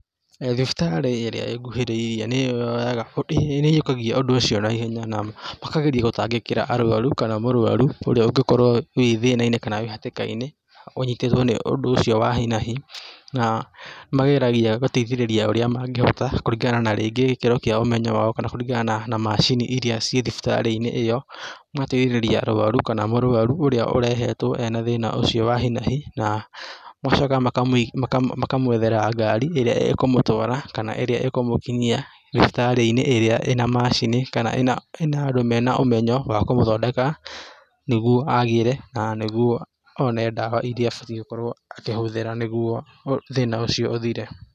Thibitarĩ ĩrĩa ĩnguhĩrĩirie nĩyoyaga, nĩĩyiũkagia ũndũ ũcio na ihenya, na makageria gũtangĩkĩra arwaru kana mũrwaru ũrĩa ũngĩkorwo thĩna-inĩ kana hatĩka-inĩ, ũnyitĩtwo nĩ ũndũ ũcio wa hi na hi, na mageragia gũteithĩrĩria ũria mangĩhota kũringana na rĩngĩ gĩkĩro kĩa ũmenyo wao kana rĩngĩ kũringana na macini iria ciĩ thibitarĩ-inĩ ĩyo, magatigĩrĩra arwaru kana mũrwaru ũrĩa urehetwo wĩna thĩna ũcio wa hi na hi, na magacoka makamwethera ngari ĩrĩa ĩkũmũtwara, kana ĩria ĩkũmũkinyia thibitarĩ ĩrĩa ĩna macini kana ĩna andũ mena ũmenyo wa kũmũthondeka nĩguo agĩre na nĩguo one dawa iria abatiĩ gũkorwo akĩhũthĩra nĩguo thĩna ũcio ũthire.